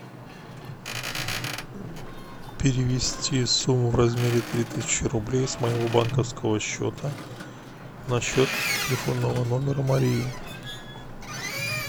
перевести сумму в размере три тысячи рублей с моего банковского счета на счет телефонного номера марии